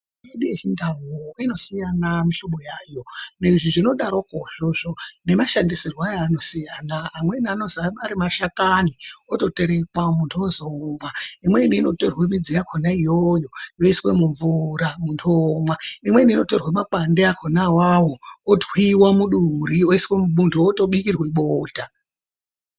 Mitombo yedu yechindau inosiyana mihlobo yayo. Izvi zvinodarokwo izvozvo nemashandisirwe ayo anosiyana. Imweni inotorwa ari mashakani oterekwa munhu wozi omwa. Imweni inotorwa midzi yakhona iyoyo yoiwe mumvura munhu omwa. Imweni inotorwe makwande akhona awawo otwiwa muduri muntu wotobikirwe bota.